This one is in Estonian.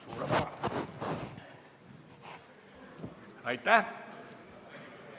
Suurepärane!